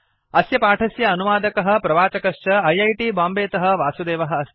अस्य पाठस्य अनुवादकः प्रवाचकश्चऐ ऐ टी बाम्बे तः वासुदेवः अस्ति